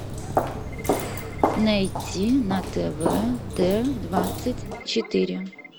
найти на тв т двадцать четыре